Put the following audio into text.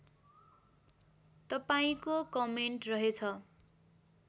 तपाईँको कमेन्ट रहेछ